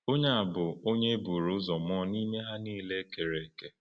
Onye a bụ “Onye e buru ụzọ mụọ n’ime ihe niile e kere eke.”